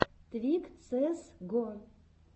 твик цээс го